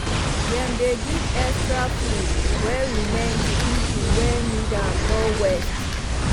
dem dey give extra food wey remain to people wey need am no waste